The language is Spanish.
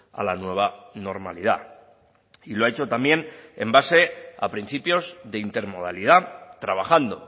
a la nueva normalidad y lo ha hecho también en base a principios de intermodalidad trabajando